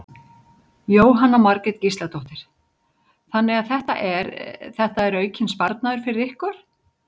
Jóhanna Margrét Gísladóttir: Þannig að þetta er, þetta er aukinn sparnaður fyrir ykkur?